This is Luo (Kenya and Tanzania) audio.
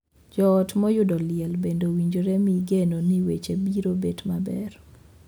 Joot moyudo liel bende owinjore mii geno ni weche biro bet maber.